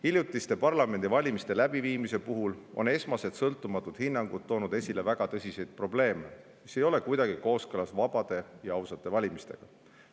Hiljutiste parlamendivalimiste läbiviimise puhul on esmased sõltumatud hinnangud toonud esile väga tõsiseid probleeme, mis ei ole kuidagi kooskõlas vabade ja ausate valimistega.